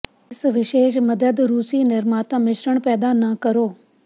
ਇਸ ਵਿਸ਼ੇਸ਼ ਮਦਦ ਰੂਸੀ ਨਿਰਮਾਤਾ ਮਿਸ਼ਰਣ ਪੈਦਾ ਨਾ ਕਰੋ